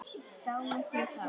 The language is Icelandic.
Sáuð þið þá?